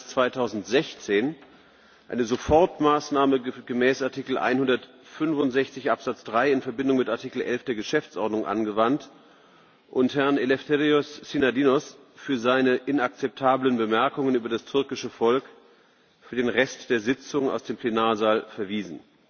9. März 2016 eine Sofortmaßnahme gemäß Artikel 165 Absatz 3 in Verbindung mit Artikel 11 der Geschäftsordnung angewandt und Herrn Eleftherios Synadinos für seine inakzeptablen Bemerkungen über das türkische Volk für den Rest der Sitzung aus dem Plenarsaal verwiesen.